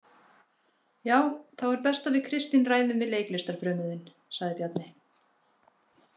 Já, þá er best að við Kristín ræðum við leiklistarfrömuðinn, sagði Bjarni.